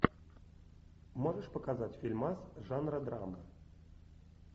можешь показать фильмас жанра драма